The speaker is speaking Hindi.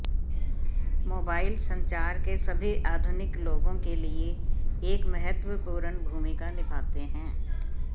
मोबाइल संचार के सभी आधुनिक लोगों के लिए एक महत्वपूर्ण भूमिका निभाते हैं